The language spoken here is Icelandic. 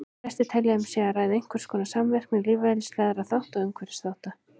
Flestir telja að um sé að ræða einhverskonar samvirkni lífeðlisfræðilegra þátta og umhverfisþátta.